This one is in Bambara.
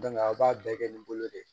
a b'a bɛɛ kɛ ni bolo de ye